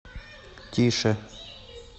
тише